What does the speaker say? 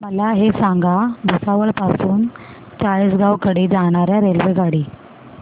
मला हे सांगा भुसावळ पासून चाळीसगाव कडे जाणार्या रेल्वेगाडी